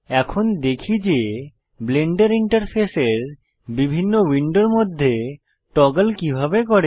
এখন দেখি যে ব্লেন্ডার ইন্টারফেসের বিভিন্ন উইন্ডোর মধ্যে টগল কিভাবে করে